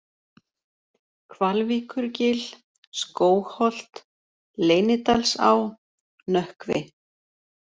Hvalvíkurgil, Skógholt, Leynidalsá, Nökkvi